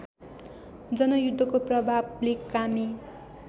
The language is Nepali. जनयुद्धको प्रभावले कामी